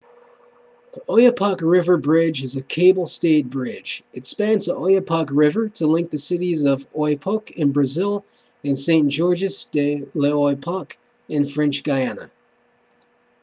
the oyapock river bridge is a cable-stayed bridge it spans the oyapock river to link the cities of oiapoque in brazil and saint-georges de l'oyapock in french guiana